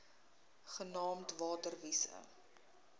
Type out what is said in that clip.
genaamd water wise